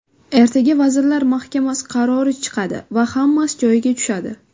Ertaga Vazirlar Mahkamasi qarori chiqadi va hammasi joyiga tushadi.